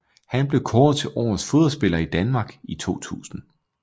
Han blev kåret til Årets Fodboldspiller i Danmark i 2000